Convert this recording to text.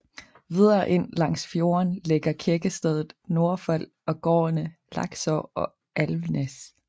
Videre ind langs fjorden ligger kirkestedet Nordfold og gårdene Lakså og Alvnes